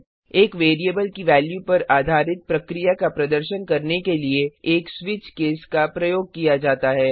httpspoken tuitorialorg एक variable की value पर आधारित प्रक्रिया का प्रदर्शन करने के लिए एक स्विच केस का प्रयोग किया जाता है